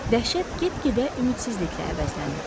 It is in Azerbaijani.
Dəhşət get-gedə ümidsizliklə əvəzlənirdi.